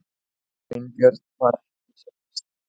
Sveinbjörn var ekki sá fyrsti.